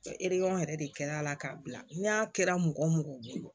yɛrɛ de kɛra a la k'a bila n'a kɛra mɔgɔ mɔgɔ bolo